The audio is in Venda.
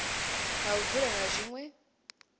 ha u dzula na zwinwe